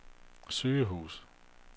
sygehus